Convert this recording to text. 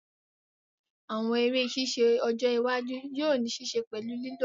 Àwọn eré ṣíṣe ọjọ́ iwájú yóò ní ṣe pẹ̀lú lílo agbọ̀n mi láti dáhùn